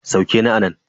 Sauke ni anan.